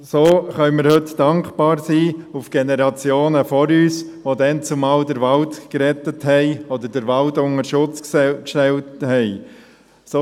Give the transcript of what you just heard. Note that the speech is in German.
So können wir heute den Generationen vor uns, die damals den Wald retteten oder unter Schutz stellten, dankbar sein.